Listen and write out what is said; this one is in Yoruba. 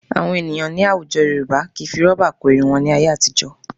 Àwọn ènìyàn ní àwùjọ Yorùbá kì í fi rọ́bà kó irun wọn ní ayé àtijọ́